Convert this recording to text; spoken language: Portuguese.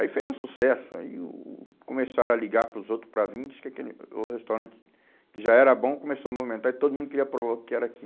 Aí fez um sucesso, aí o começaram a ligar para os outros para vim e diz que aquele, o restaurante que já era bom começou a movimentar e todo mundo queria provar o que era aqui.